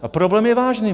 A problém je vážný.